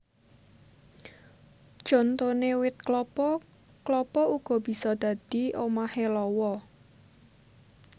Contoné wit klapa klapa uga bisa dadi omahé lawa